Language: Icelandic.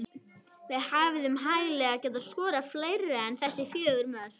Við hefðum hæglega getað skorað fleiri en þessi fjögur mörk.